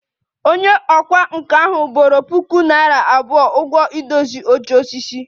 Onye ọkwá nkà ahụ boro puku naira abụọ ụgwọ idozi oche osisi